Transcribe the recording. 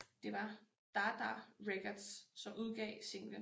Det var Dada Records som udgav singlen